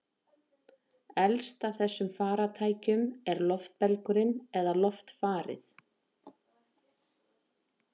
Elst af þessum farartækjum er loftbelgurinn eða loftfarið.